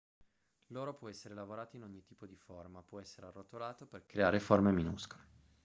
l'oro può essere lavorato in ogni tipo di forma può essere arrotolato per creare forme minuscole